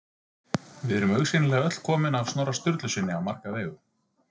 Við erum augsýnilega öll komin af Snorra Sturlusyni á marga vegu.